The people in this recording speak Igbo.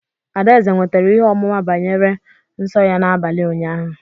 Adaeze nwetara ihe ọmụma banyere nsọ nsọ ya n'abalị ụnyaahụ.